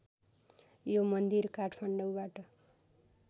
यो मन्दिर काठमाडौँबाट